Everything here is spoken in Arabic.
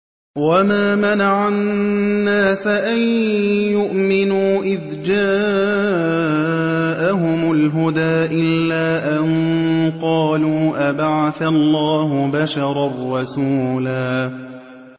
وَمَا مَنَعَ النَّاسَ أَن يُؤْمِنُوا إِذْ جَاءَهُمُ الْهُدَىٰ إِلَّا أَن قَالُوا أَبَعَثَ اللَّهُ بَشَرًا رَّسُولًا